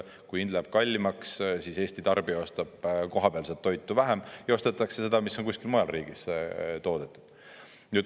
Kui hind läheb kallimaks, siis Eesti tarbija ostab kohapealset toitu vähem ja ostetakse seda, mis on kuskil mujal riigis toodetud.